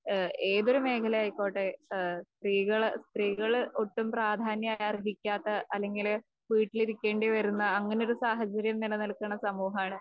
ഏഹ് ഏതൊരു മേഘലയായിക്കോട്ടെ ഏഹ് സ്ത്രീകള്, സ്ത്രീകള് ഒട്ടും പ്രാധാന്യം അർഹിക്കാത്ത അല്ലെങ്കില് വീട്ടിൽ ഇരിക്കേണ്ടിവരുന്ന അങ്ങനൊരു സാഹചര്യം നിലനിൽക്കണ സമൂഹമാണ്